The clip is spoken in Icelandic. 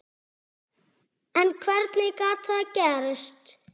En hvernig gat það gerst?